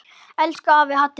Elsku afi Haddi minn.